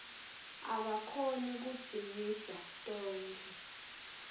akakhoni kudzingidza tonkhe